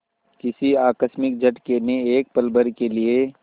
किसी आकस्मिक झटके ने एक पलभर के लिए